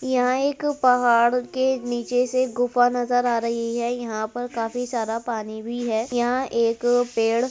यहाँ एक पहाड़ के नीचे से गुफा नज़र आ रही है। यहाँ पर काफी सारा पानी भी है। यहाँ एक पेड़ --